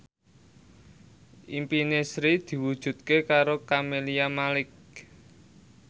impine Sri diwujudke karo Camelia Malik